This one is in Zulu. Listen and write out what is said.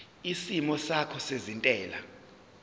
isimo sakho sezentela